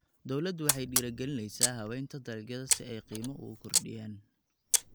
Dawladdu waxay dhiirigelinaysaa habaynta dalagyada si ay qiimo ugu kordhiyaan.